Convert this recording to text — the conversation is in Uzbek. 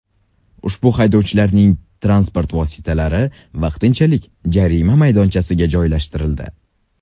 Ushbu haydovchilarning transport vositalari vaqtinchalik jarima maydonchasiga joylashtirildi.